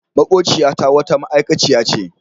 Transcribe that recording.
Maƙociyata wata ma'aikaciya ce.